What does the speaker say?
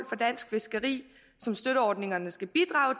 for dansk fiskeri som støtteordningerne skal bidrage